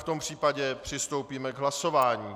V tom případě přistoupíme k hlasování.